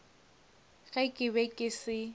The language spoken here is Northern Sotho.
ge ke be ke se